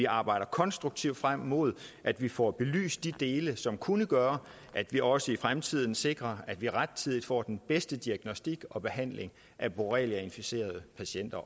arbejder konstruktivt frem mod at vi får belyst de dele som kunne gøre at vi også i fremtiden sikrer at vi rettidigt får den bedste diagnostik og behandling af borreliainficerede patienter